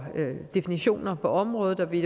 definitioner på området og vi